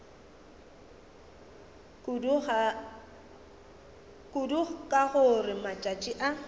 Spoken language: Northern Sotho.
kudu ka gore matšatši a